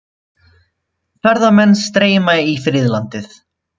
Ferðamenn streyma í friðlandið